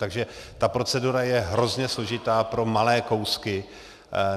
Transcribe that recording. Takže ta procedura je hrozně složitá pro malé kousky.